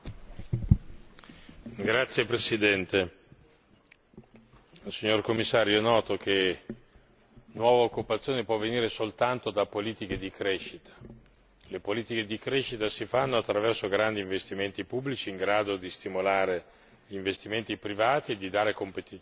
Signor Presidente, onorevoli colleghi, signor Commissario, è noto che nuova occupazione può essere generata soltanto da politiche di crescita e le politiche di crescita si fanno attraverso grandi investimenti pubblici in grado di stimolare gli investimenti privati e di dare competitività ai territori.